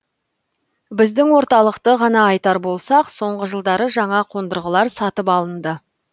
біздің орталықты ғана айтар болсақ соңғы жылдары жаңа қондырғылар сатып алынды